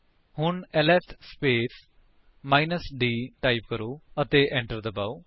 ਹੁਣ LS space minus d type ਅਤੇ enter ਦਬਾਓ